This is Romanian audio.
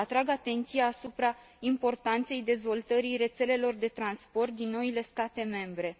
Atrag atenția asupra importanței dezvoltării rețelelor de transport din noile state membre.